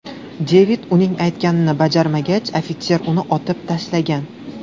Devid uning aytganini bajarmagach, ofitser uni otib tashlagan.